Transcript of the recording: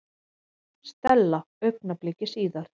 Stella augnabliki síðar.